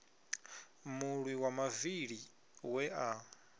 mulwi wa mavili we a